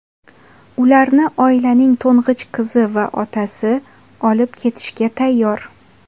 Ularni oilaning to‘ng‘ich qizi va otasi olib ketishga tayyor.